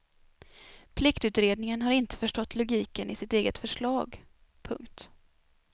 Pliktutredningen har inte förstått logiken i sitt eget förslag. punkt